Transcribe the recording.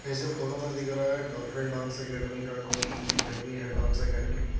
जैसे फोटो में दिख रहा है डॉल्फिन डांस एकेडमी का कोई एकेडमी है डांस अकैडमी .